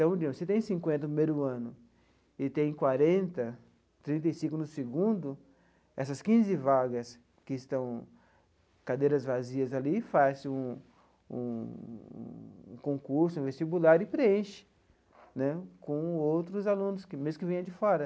Então, se tem cinquenta no primeiro ano e tem quarenta, trinta e cinco no segundo, essas quinze vagas que estão cadeiras vazias ali, faz um um um concurso vestibular e preenche né com outros alunos, mesmo que venham de fora.